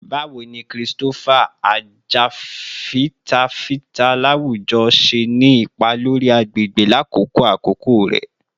Bawo ni Christopher, ajafitafita lawujọ, ṣe ni ipa lori agbegbe lakoko akoko rẹ?